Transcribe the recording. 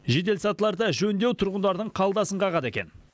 жеделсатыларды жөндеу тұрғындардың қалтасын қағады екен